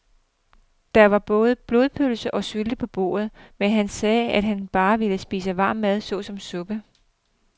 Der var både blodpølse og sylte på bordet, men han sagde, at han bare ville spise varm mad såsom suppe.